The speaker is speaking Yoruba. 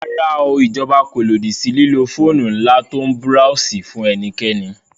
Rárá o, ìjọba kò lòdì sí lílo fóònù ńlá tó ń búráósì fún ẹnikẹ́ni